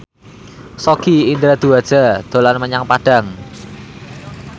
Sogi Indra Duaja dolan menyang Padang